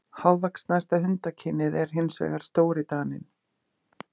Hávaxnasta hundakynið er hins vegar stórdaninn.